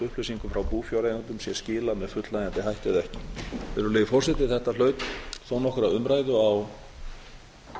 upplýsingum frá búfjáreigendum sé skilað með fullnægjandi hætti eða ekki virðulegi forseti þetta hlaut þó nokkra umræðu á